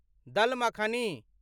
दल मखानी